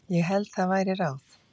Ég held það væri ráð.